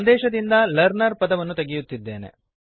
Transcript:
ಸಂದೇಶದಿಂದ learner learner ಪದವನ್ನು ತೆಗೆಯುತ್ತಿದ್ದೇನೆ